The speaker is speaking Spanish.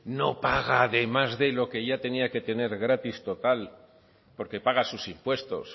no paga de más de lo que ya tenía que tener gratis total porque paga sus impuestos